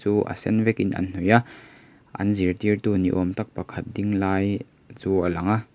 chu a sen vekin an hnawih a an zirtîrtu ni âwm tak pakhat ding lai chu a lang a.